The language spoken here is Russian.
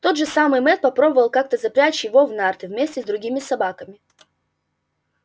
тот же самый мэтт попробовал как то запрячь его в нарты вместе с другими собаками